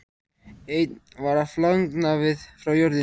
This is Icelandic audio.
Einn var að flagna frá jörðinni.